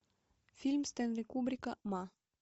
фильм стенли кубрика ма